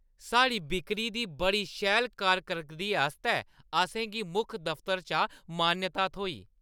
साढ़ी बिक्री दी बड़ी शैल कार-करदगी आस्तै असें गी मुक्ख दफ्तरै चा मान्यता थ्होई।